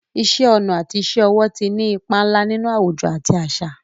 Iṣẹ́ ọnà àti iṣẹ́ ọwọ́ ti ní ipa ńlá nínú àwùjọ àti àṣà.